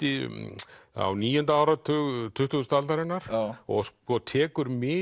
á níunda áratug tuttugustu aldarinnar og tekur mið